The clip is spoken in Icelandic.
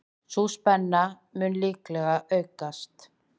Sú spenna mun líklega aukast.